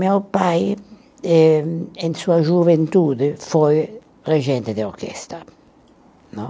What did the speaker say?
Meu pai, em em sua juventude, foi regente de orquestra.